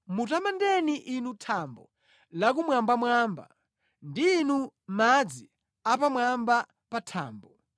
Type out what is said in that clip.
Mutamandeni, inu thambo la kumwambamwamba ndi inu madzi a pamwamba pa thambo.